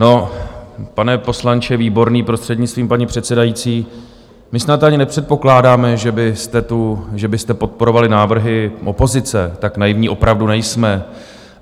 No, pane poslanče Výborný, prostřednictvím paní předsedající, my snad ani nepředpokládáme, že byste podporovali návrhy opozice, tak naivní opravdu nejsme.